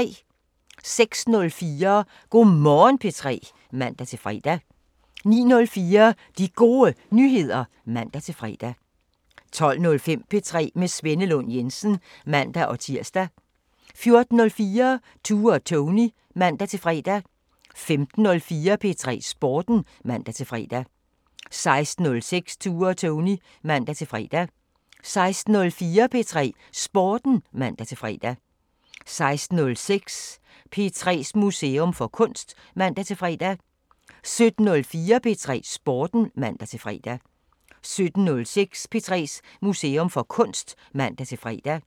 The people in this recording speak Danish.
06:04: Go' Morgen P3 (man-fre) 09:04: De Gode Nyheder (man-fre) 12:05: P3 med Svenne Lund Jensen (man-tir) 14:04: Tue og Tony (man-fre) 15:04: P3 Sporten (man-fre) 15:06: Tue og Tony (man-fre) 16:04: P3 Sporten (man-fre) 16:06: P3s Museum for Kunst (man-fre) 17:04: P3 Sporten (man-fre) 17:06: P3s Museum for Kunst (man-fre)